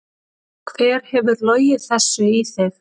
Hver hefur logið þessu í þig?